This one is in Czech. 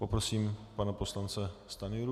Poprosím pana poslance Stanjuru.